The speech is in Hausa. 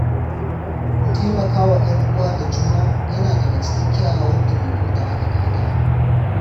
Taimaka wa ‘yan uwa da juna yana daga cikin kyawawan ɗabi’un da aka gada.